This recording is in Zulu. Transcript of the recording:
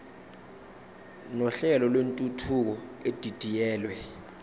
nohlelo lwentuthuko edidiyelwe